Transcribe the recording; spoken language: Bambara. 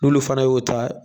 N'olu fana y'o ta